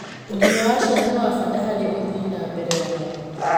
ũgima wa ciana niwabata harĩ uthii nambere wao